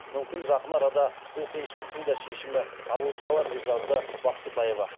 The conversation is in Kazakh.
мүмкін жақын арада бұл қиыншылықтың да шешімі табылып қалар деп жазды бақтыбаева